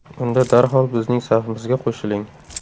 Unda darhol bizning safimizga qo‘shiling!.